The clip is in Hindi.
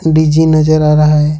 डी जी नजर आ रहा है।